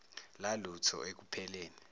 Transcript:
lalutho eku pheleni